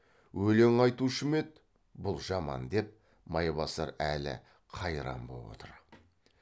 өлең айтушы ма еді бұл жаман деп майбасар әлі қайран боп отырады